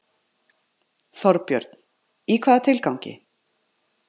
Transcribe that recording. Þorbjörn: Í hvaða tilgangi?